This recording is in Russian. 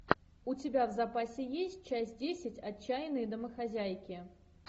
у тебя в запасе есть часть десять отчаянные домохозяйки